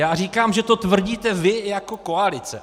Já říkám, že to tvrdíte vy jako koalice.